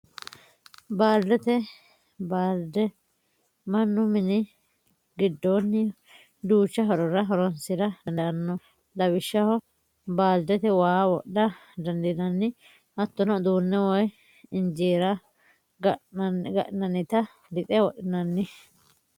Baalidete, baalide manu mini gidoonni duucha hororra horonsira dandaano lawishaho, baalidete waa wodha dandinanni hatonno uduune, woyi injeera ga'nanita lixe wodhinanni